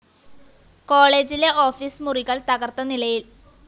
കോളേജിലെ ഓഫീസ്‌ മുറികള്‍ തകര്‍ത്തനിലയില്‍